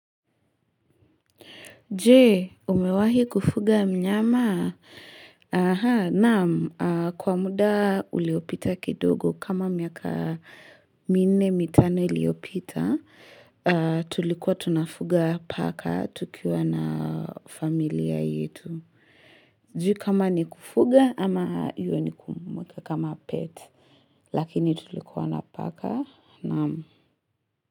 Je, umewahi kufuga mnyama? Aha, naam. Kwa muda uliopita kidogo kama miaka minne mitano iliyopita, tulikuwa tunafuga paka tukiwa na familia yetu. Sijui, kama ni kufuga ama hiyo ni kumweka kama pet. Lakini tulikuwa na paka, naam.